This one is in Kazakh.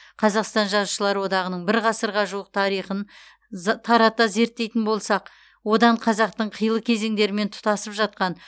қазақстан жазушылар одағының бір ғасырға жуық тарихын з тарата зерттейтін болсақ одан қазақтың қилы кезеңдерімен тұтасып жатқан